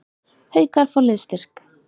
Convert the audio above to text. Haukar fá liðsstyrk